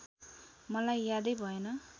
मलाई यादै भएन